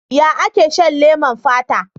Ya ake shan leman fata?